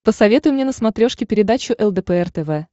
посоветуй мне на смотрешке передачу лдпр тв